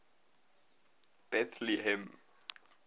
bethlehem